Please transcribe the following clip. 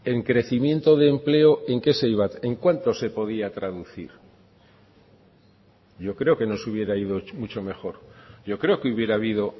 en crecimiento de empleo en qué se iba en cuánto se podía traducir yo creo que nos hubiera ido mucho mejor yo creo que hubiera habido